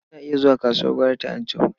Ina iya zuwa kasuwar gwari ta Anchau.